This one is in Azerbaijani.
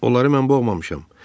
Onları mən boğmamışam.